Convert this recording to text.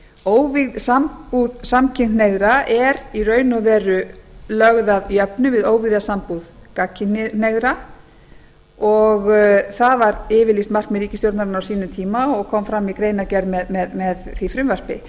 óvígð sambúð samkynhneigðra er í raun og veru lögð að jöfnu við óvígða sambúð gagnkynhneigðra og það var yfirlýst markmið ríkisstjórnarinnar á sínum tíma og kom fram í greinargerð með því frumvarpi